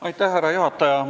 Aitäh, härra juhataja!